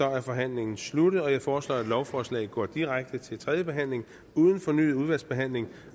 er forhandlingen sluttet jeg foreslår at lovforslaget går direkte til tredje behandling uden fornyet udvalgsbehandling